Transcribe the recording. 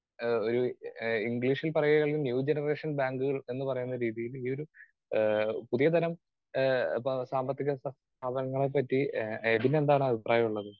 Speaker 2 ആഹ് ഒരു ഏഹ് ഇംഗ്ലീഷിൽ പറയുകയാണെങ്കിൽ ന്യൂജനറേഷൻ ബാങ്കുകൾ എന്നു പറയുന്ന ഒരു രീതിയില് ഈയൊരു ഏഹ് പുതിയതരം ഏഹ് സാമ്പത്തിക സ്ഥാപനങ്ങളെ പറ്റി എബിനെന്താണ് അഭിപ്രായം ഉള്ളത്?